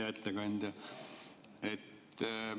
Hea ettekandja!